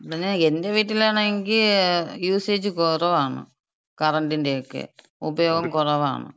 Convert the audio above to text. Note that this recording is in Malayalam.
പറഞ്ഞാ, എന്‍റെവീട്ടിലാണെങ്കി യൂസേജ് കൊറവാണ്. കറണ്ടിന്‍റെക്ക, ഉപയോഗം കുറവാണ്.